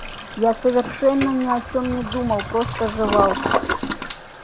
я совершенно ни о чём не думал просто жевал